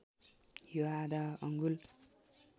यो आधा अङ्गुल